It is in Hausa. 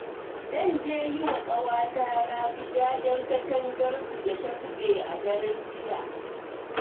Zan je yi wa ƙawata Rabi jajen katangarsu da ta zube a daren jiya